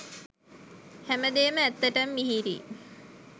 හැමදේම ඇත්තටම මිහිරියි